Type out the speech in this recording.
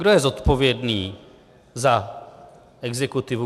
Kdo je zodpovědný za exekutivu.